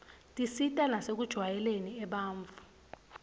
tisita nasekujwayeleni abantfu